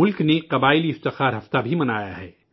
ملک نے جن جاتیہ گورو ہفتہ بھی منایا ہے